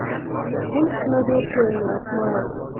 пункт назначения смайл